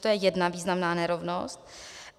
To je jedna významná nerovnost.